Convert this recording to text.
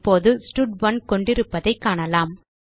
இப்போது ஸ்டட்1 கொண்டிருப்பதைக் காணலாம்